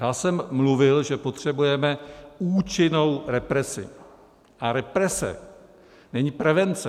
Já jsem mluvil, že potřebujeme účinnou represi, a represe není prevence.